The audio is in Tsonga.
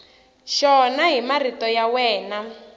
xona hi marito ya wena